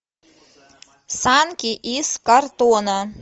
санки из картона